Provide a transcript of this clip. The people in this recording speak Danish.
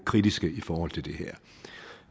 kritiske i forhold til det her